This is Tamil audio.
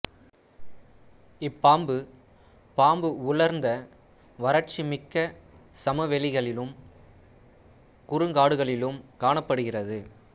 இப்பாம்பு பாம்பு உலர்ந்த வறட்சி மிக்க சமவெளிகளிலும் குறுங்காடுகளிலும் காணப்படுகிறது